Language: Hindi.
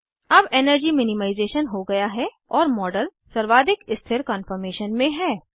अब एनर्जी मिनिमाइज़ेशन हो गया है और मॉडल सर्वाधिक स्थिर कान्फॉर्मेशन में है